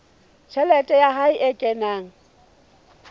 tjhelete ya hae e kenang